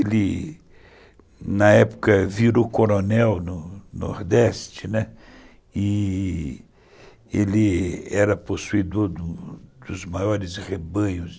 Ele, na época, virou coronel no Nordeste, né, e ele era possuídor dos maiores rebanhos